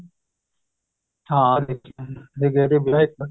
ਹਾਂ ਦੇਖੇ ਨੇ